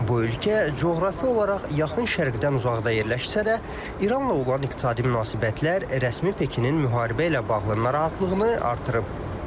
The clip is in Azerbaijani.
Bu ölkə coğrafi olaraq Yaxın Şərqdən uzaqda yerləşsə də, İranla olan iqtisadi münasibətlər rəsmi Pekinin müharibə ilə bağlı narahatlığını artırıb.